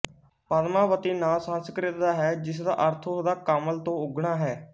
ਪਦਮਾਵਤੀ ਨਾਂ ਸੰਸਕ੍ਰਿਤ ਦਾ ਹੈ ਜਿਸ ਦਾ ਅਰਥ ਉਸ ਦਾ ਕਮਲ ਤੋਂ ਉੱਗਣਾ ਹੈ